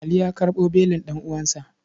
Ali ya karɓo belin ɗan'uwansa.